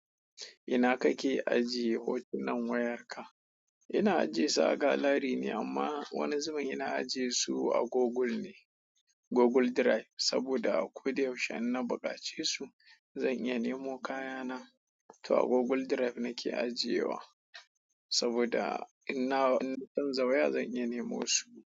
Ina kake ajiye hotunan wayarka? Ina aje su a gallery ne amma wani zubi ina aje su a google ne google drive. Saboda a ko da yaushe in na buƙaci su, zan iya nemo kaya na. To a Google Drive nake ajiyewa saboda in na canza waya zan iya nemo su.